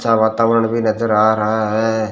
अच्छा वातावरण भी नजर आ रहा है।